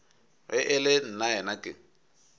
ge e le nnaena ke